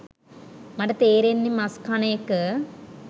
මට තේරෙන්නේ මස් කන එක